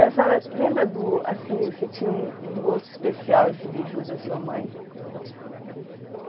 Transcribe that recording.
E a senhora lembra do, assim, se tinha um um gosto especial esse beiju da sua mãe?